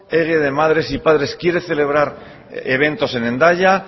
ehige de madre y padres quiere celebrar eventos en hendaya